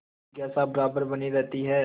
जिज्ञासा बराबर बनी रहती है